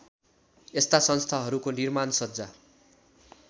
यस्ता संस्थाहरूको निर्माणसज्जा